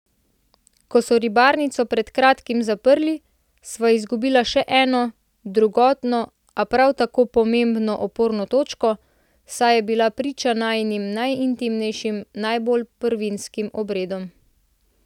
Ko so ribarnico pred kratkim zaprli, sva izgubila še eno, drugotno, a prav tako pomembno oporno točko, saj je bila priča najinim najintimnejšim, najbolj prvinskim obredom.